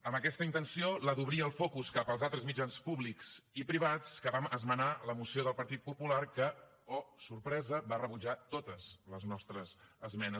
amb aquesta intenció la d’obrir el focus cap als altres mitjans públics i privats vam esmenar la moció del partit popular que oh sorpresa va rebutjar totes les nostres esmenes